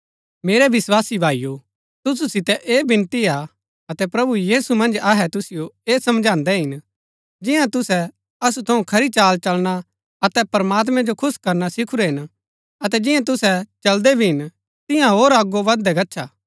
मेरै विस्वासी भाईओ तुसु सितै ऐह विनती हा अतै प्रभु यीशु मन्ज अहै तुसिओ ऐह समझान्‍दै हिन जिआं तुसै असु थऊँ खरी चाल चलना अतै प्रमात्मैं जो खुश करना सिखुरै हिन अतै जिआं तुसै चलदै भी हिन तियां होर अगो बधदै गच्छा